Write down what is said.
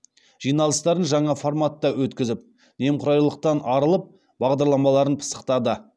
жиналыстарын жаңа форматта өткізіп немқұрайлылықтан арылып бағдарламаларын пысықтады